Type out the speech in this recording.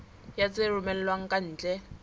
ya tse romellwang ka ntle